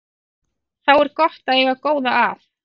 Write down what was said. Þá er gott að eiga góða að.